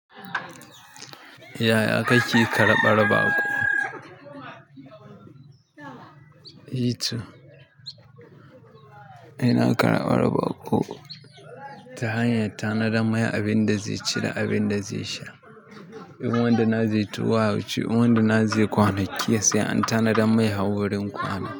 Yaya kake karɓar baƙo? Eh to, ina karɓar baƙo ta hanyar tanadar mai abin da zai ci da abin da zai sha. In wanda na zai tawaye wuce, in wanda na zai kwana, ke sai an tanadar mai har wurin kwana.